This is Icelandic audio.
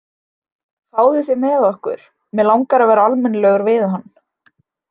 Fáðu þér með okkur, mig langar að vera almennilegur við hann.